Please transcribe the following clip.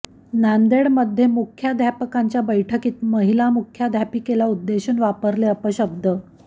नांदेडमध्ये मुख्याध्यापकांच्या बैठकीत महिला मुख्याध्यापिकेला उद्देशून वापरले अपशब्द